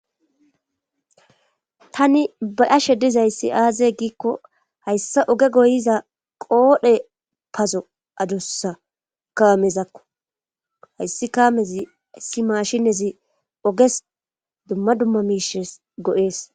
Tani bayashe dizayssi aaze giikko hayssa oge goyiza qoodhe pazo adussa kawamezakko hayssi kaamezi si maashinezi oges dumma dumma miishes go7ees.